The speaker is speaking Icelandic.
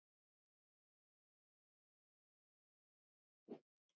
Smjöri og rjóma bætt við.